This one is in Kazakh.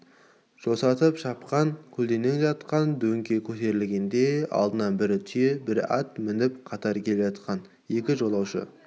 жосытып шапқан көлденең жатқан дөңге көтерілгенде алдынан бірі түйе бірі ат мініп қатар келе жатқан екі жолаушы